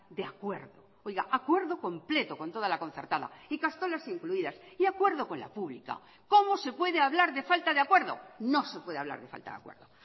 de acuerdo oiga acuerdo completo con toda la concertada ikastolas incluidas y acuerdo con la pública cómo se puede hablar de falta de acuerdo no sé puede hablar de falta de acuerdo